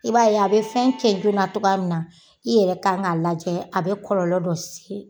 I b'a ye a bɛ fɛn cɛ joona cogoya min na i yɛrɛ kan ka lajɛ a bɛ kɔlɔlɔ dɔ se